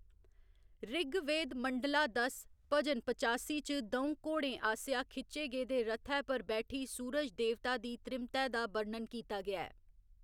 ऋग्वेद मंडला दस, भजन पचासी च द'ऊं घोड़ें आसेआ खिच्चे गेदे रथै पर बैठी सूरज देवता दी त्रीमतै दा बर्णन कीता गेआ ऐ।